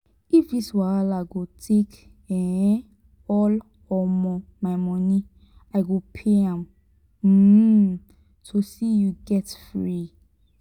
if this wahala go take um all um my monie i go pay am um to see you get free.